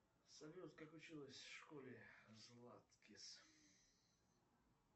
салют как училась в школе златкис